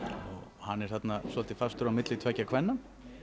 hann er þarna svolítið fastur á milli tveggja kvenna